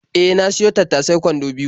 E, na siyo tattasai kwando biyo.